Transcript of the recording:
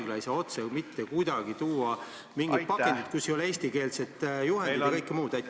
Haigla ei saa otse mitte kuidagi sisse tuua ravimit mingis pakendis, kus ei ole eestikeelset juhendit, ja nii edasi.